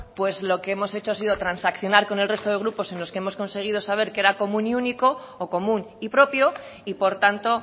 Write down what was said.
pues lo que hemos hecho ha sido transaccional con el resto de grupos en los que hemos conseguido saber que era común y único o común y propio y por tanto